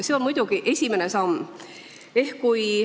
See on muidugi vaid esimene samm.